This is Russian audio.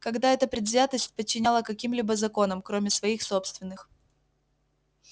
когда эта предвзятость подчиняла каким-либо законам кроме своих собственных